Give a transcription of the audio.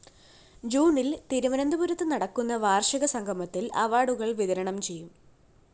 ജൂണില്‍ തിരുവനന്തപുരത്തു നടക്കുന്ന വാര്‍ഷിക സംഗമത്തില്‍ അവാര്‍ഡുകള്‍ വിതരണം ചെയ്യും